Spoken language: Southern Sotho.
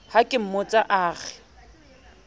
ha ke mmotsa a re